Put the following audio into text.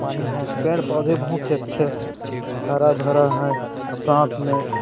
पानी है पेड़ पौधे बहुत अच्छे हरा-भरा है साथ में--